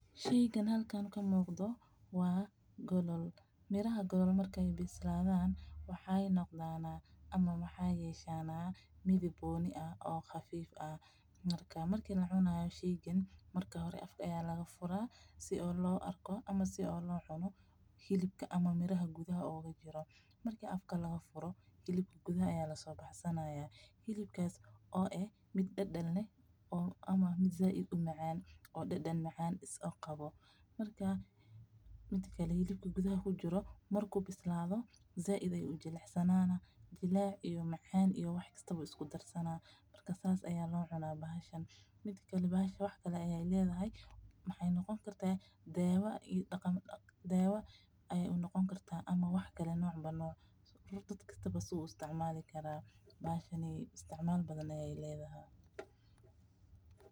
Sheygan halkaan ka muuqdo waa golol. Miraha golol markay bislaadaan waxay noqdaanaa ama ma xayeeshaanaa mid ibooni ah oo khafiif ah. Markaa markii la cunaa shiigan, marka hore afka ayaa laga furaa si oo loo arko ama si oo loo cuno xilibka ama miraha gudaha uuga jiro. Markii afka lagu furo, xilib gudah ayaa lasoo baxsanaya. Xilibkaas oo eh mid dhal dhalne ama mid zaad id u macaan oo dhal dhal macaan is o qabo. Markaa mitikalee xilib gudaheeb ku jiro markuu bislaado, zaa iday u jilicsanaanaa, jilaac iyo macaan iyo wax kasta uu isku darsanaa. Marka saas ayaa loo cunaa baashan. Mitikalee baasha wax kale ayay leedahay. Maxay noqon kartay deewa iyo ayay u noqon kartaa ama wax kale noocba nooca dadka suu isticmaali karaan. Baashan ayay isticmaal badan ayay leedahaa.